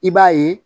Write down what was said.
I b'a ye